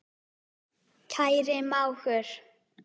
Kæri mágur.